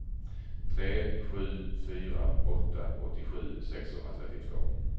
tre sju fyra åtta åttiosju sexhundratrettiotvå